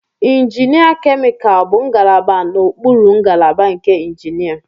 Injinia Chemical bụ ngalaba n'okpuru ngalaba nke injinia.